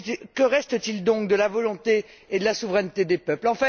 que reste t il donc de la volonté et de la souveraineté des peuples?